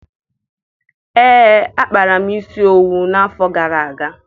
Ee, akpara m isi owu n'afọ gara aga